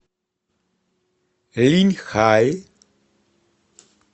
линьхай